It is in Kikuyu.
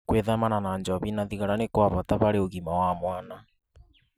Gwĩthemana na njohi na thigara nĩ gwa bata harĩ ũgitĩri wa mwana.